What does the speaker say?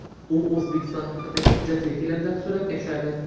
U O‘zbekiston haqidagi hujjatli filmda suratga tushadi.